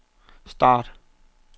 start